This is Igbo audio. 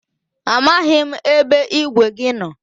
A maghị m ebe igwe gị nọ.